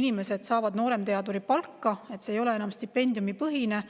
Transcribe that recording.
inimesed saavad nooremteaduri palka, see ei ole enam stipendiumipõhine.